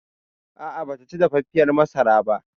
A'a bataci dafaffiyar masarar ba